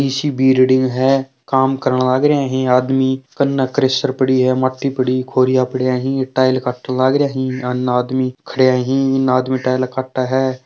इसी बिर्डिंग है काम करण लाग रहिये है आदमी कन्या क्रेशर पड़ी है मति पड़ी है कोरिया पड़े है ही टाइल काटन लाग रहिया ही है अन आदमी खड्या ही इन आदमी टाइला काटे है।